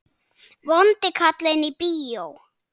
Vondi karlinn í bíó?